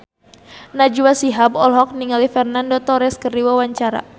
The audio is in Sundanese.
Najwa Shihab olohok ningali Fernando Torres keur diwawancara